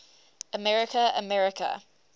america america